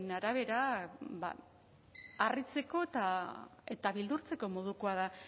arabera ba harritzeko eta beldurtzeko modukoa da